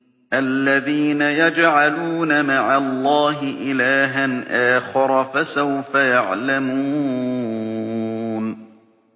الَّذِينَ يَجْعَلُونَ مَعَ اللَّهِ إِلَٰهًا آخَرَ ۚ فَسَوْفَ يَعْلَمُونَ